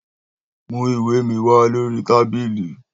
Mú ìwé mi wá lórí tábìlì